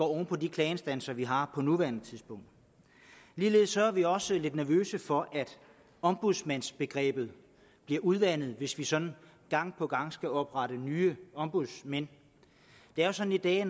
oven på de klageinstanser vi har på nuværende tidspunkt ligeledes er vi også lidt nervøse for at ombudsmandsbegrebet bliver udvandet hvis vi sådan gang på gang skal oprette nye ombudsmænd det er jo sådan i dag